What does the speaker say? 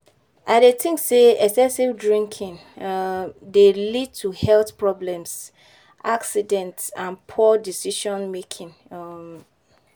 I dey think say excessive drinking um dey lead to health problems, accidents and poor decision-making. um